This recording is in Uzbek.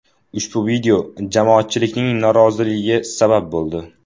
Ushbu video jamoatchilikning noroziligiga sabab bo‘ldi.